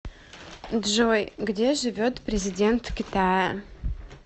джой где живет президент китая